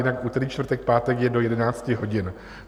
Jinak úterý, čtvrtek, pátek je do 11 hodin.